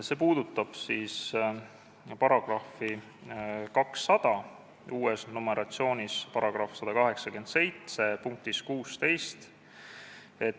See puudutab § 200 punkti 16.